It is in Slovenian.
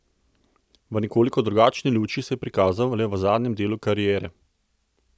V nekoliko drugačni luči se je prikazal le v zadnjem delu kariere.